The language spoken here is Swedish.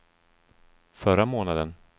förra månaden